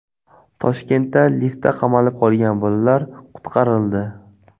Toshkentda liftda qamalib qolgan bolalar qutqarildi .